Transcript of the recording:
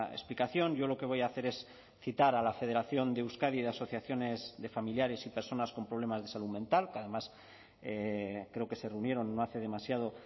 explicación yo lo que voy a hacer es citar a la federación de euskadi de asociaciones de familiares y personas con problemas de salud mental que además creo que se reunieron no hace demasiado